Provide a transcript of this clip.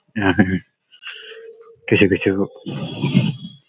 কিছু কিছু--